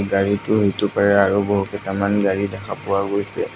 গাড়ীটোৰ সিটো পাৰে আৰু বহুত কেইটামান গাড়ী দেখা পোৱা গৈছে।